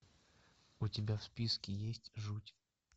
у тебя в списке есть жуть